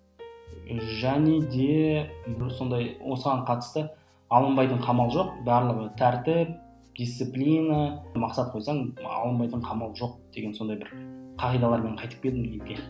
және де бір сондай осыған қатысты алынбайтын қамал жоқ барлығы тәртіп дисциплина мақсат қойсаң алынбайтын қамал жоқ деген сондай бір қағидалармен қайтып келдім елге